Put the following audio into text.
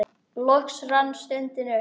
Loks rann stundin upp.